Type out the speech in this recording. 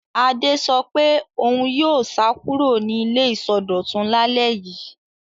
Adé sọ pé òun yóò sá kúrò ní ilé ìsọdọ̀tun lálẹ́ yìí.